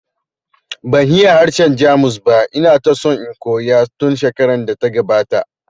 Ban iya harshen Jamus ba, ina ta so in koya tun shekarar da ta gabata